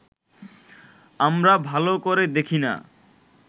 আমরা ভালো করে দেখি না